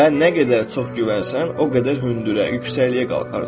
Və nə qədər çox güvənsən, o qədər hündürə, yüksəkliyə qalxarsan.